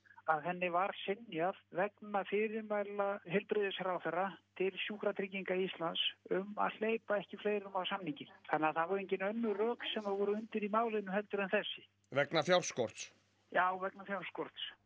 að henni var synjað vegna fyrirmæla heilbrigðisráðherra til Sjúkratrygginga Íslands um að hleypa ekki fleirum á samninginn þannig að það voru engin önnur rök sem voru undir í málinu heldur en þessi vegna fjárskorts já vegna fjárskorts